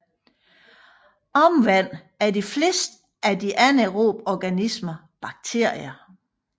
Omvendt er de fleste af de anaerobe organismer bakterier